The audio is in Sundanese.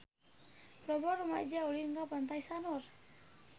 Loba rumaja ulin ka Pantai Sanur